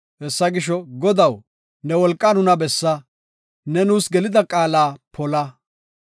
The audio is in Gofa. “Hessa gisho, Godaw, ne wolqaa nuna bessa; ne nuus gelida qaala qopa.